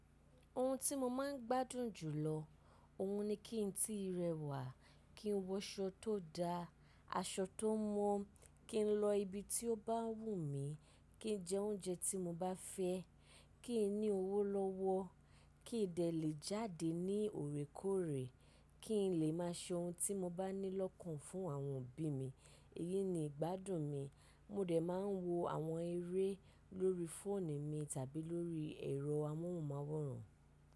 Ohun tí mo máa ń gbádùn jùlọ, òhun ni kí n tí rẹwà, kí n wọṣọ tó da, aṣọ tó mọ́, kí n lọ ibi tí ó bá wù mí, kí n jẹ oúnjẹ tí mo bá fẹ́, kí n ní owó lọ́wọ́, kí n dẹ lè jáde ní òrékoore, kí n lè máa ṣe ohun tí mo bá ní lọ́kàn fún àwọn òbí mi. Èyí ni ìgbádùn mi. Mo dẹ máa ń wo àwọn eré lórí fóònù mi tàbí lórí ẹ̀rọ amóhùnmáwòrán.